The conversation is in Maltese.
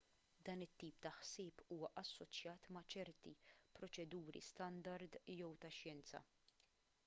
dan it-tip ta' ħsieb huwa assoċjat ma' ċerti proċeduri standard jew tax-xjenza